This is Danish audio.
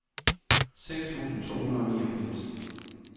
seks tusind to hundrede og niogfirs